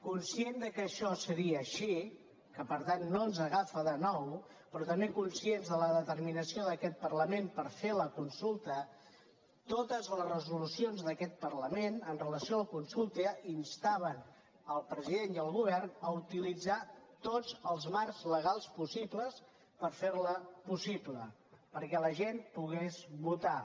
conscients que això seria així que per tant no ens agafa de nou però també conscients de la determinació d’aquest parlament per fer la consulta totes les resolucions d’aquest parlament amb relació a la consulta instaven el president i el govern a utilitzar tots els marcs legals possibles per fer la possible perquè la gent pogués votar